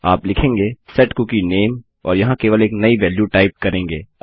आप लिखेंगे set cookie name और यहाँ केवल एक नई वेल्यु टाइप करेंगे